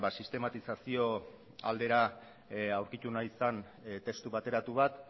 sistematizazio aldera aurkitu nahi zen testu bateratu bat